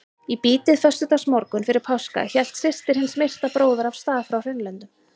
Í bítið föstudagsmorgunn fyrir páska hélt systir hins myrta bróður af stað frá Hraunlöndum.